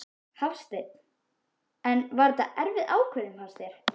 Hafsteinn: En var þetta erfið ákvörðun fannst þér?